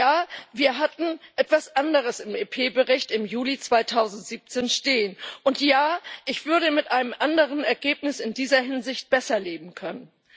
Ja, wir hatten etwas anderes im EP Bericht im Juli 2017 stehen, und ja, ich würde mit einem anderen Ergebnis in dieser Hinsicht besser leben können.